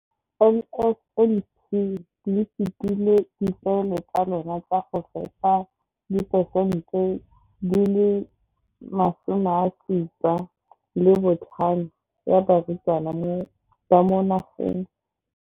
Ka NSNP le fetile dipeelo tsa lona tsa go fepa masome a supa le botlhano a diperesente ya barutwana ba mo nageng.